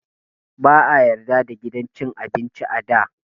Ba a yarda da gidan cin abinci ba da.